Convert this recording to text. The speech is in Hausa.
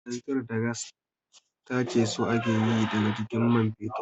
Kananzir da gas tace su ake yi daga jikin man fetur